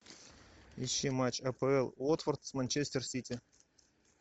ищи матч апл уотфорд с манчестер сити